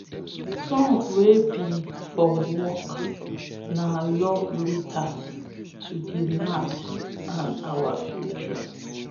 songs wey be for work na love letters to de land and our future